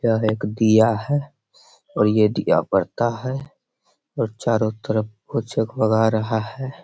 यह एक दीया है ये दीया बरता है और चारो तरफ को जग-मगा रहा है ।